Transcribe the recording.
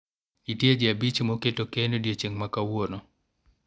nitie jii abich ma oketo keno odiochieng' ma kawuono